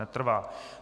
Netrvá.